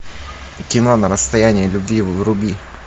кино на расстоянии любви вруби